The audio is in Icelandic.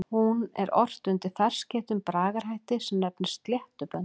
Hún er ort undir ferskeyttum bragarhætti sem nefnist sléttubönd.